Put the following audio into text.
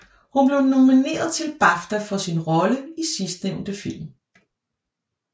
Hun blev nomineret til BAFTA for sin rolle i sidstnævnte film